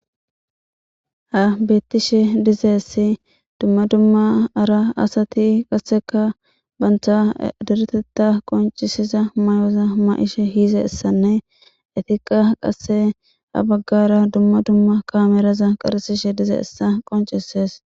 Ha beettishe dizeessi dumma dumma ara asati qasseka banta diretetta qoncisiza may7oza ma7ishe hiize issanne etiqa qasse ha baggara dumma dumma kaameraza qarsishe dize issa qoncisees.